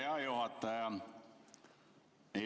Hea juhataja!